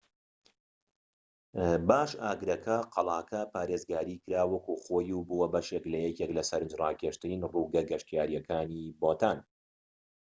باش ئاگرەکە قەڵاکە پارێزگاری کرا وەکو خۆی و بووە بەشێك لە یەکێك لە سەرنجڕاکێشترین ڕووگە گەشتیاریەکانی بوتان